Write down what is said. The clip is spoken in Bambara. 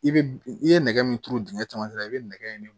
I bɛ i ye nɛgɛ min turu dingɛ camancɛ la i bɛ nɛgɛ in